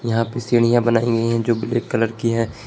यहां पे सीढ़ियां बनाई गई है जो ब्लैक कलर की हैं।